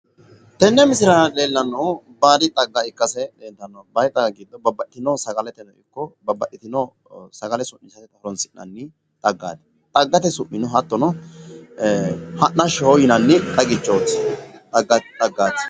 tenne misile aana leellanohu baadi xagga ikkaseeti tenne su'mino hattono ha'nnashshoho yinani xaggaati.